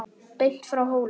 Beint frá Hólum.